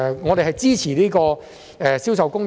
我們支持實施《銷售公約》。